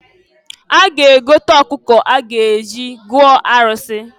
A ga-egota ọkụkọ a ga-eji gọọ arụsị.